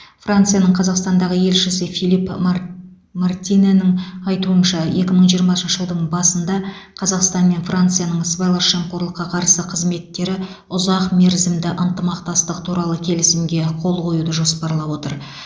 францияның қазақстандағы елшісі филипп март мартинэнің айтуынша екі мың жиырмасыншы жылдың басында қазақстан мен францияның сыбайлас жемқорлыққа қарсы қызметтері ұзақмерзімді ынтымақтастық туралы келісімге қол қоюды жоспарлап отыр